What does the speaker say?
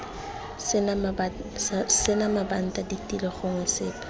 sena mabanta ditilo gongwe sepe